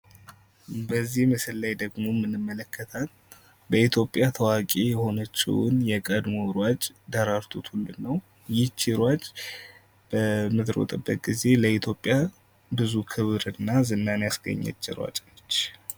በዚህ ምስል ላይ ደግሞ የምንመለከታት በኢትዮጵያ ታዋቂ የሆነችውን የቀድሞ ሯጭ ደራርቱ ቱሉን ናት። እቺ ሯጭ በምትሮጥበት ጊዜ ለኢትዮጵያ ብዙ ክብር እና ዝናን ያስገኘች ሯጭ ናት።